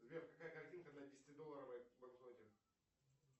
сбер какая картинка на десятидолларовой банкноте